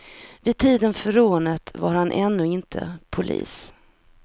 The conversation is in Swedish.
Vid tiden för rånet var han ännu inte polis.